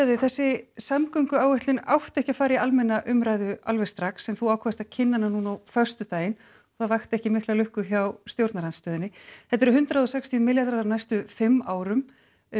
þig þessi samgönguáætlun átti ekki að fara í almenna umræðu alveg strax en þú ákvaðst að kynna hana núna á föstudaginn og það vakti ekki mikla lukku hjá stjórnarandstöðunni þetta eru hundrað og sextíu milljarðar á næstu fimm árum